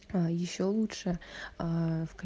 аа ещё лучше аа в ка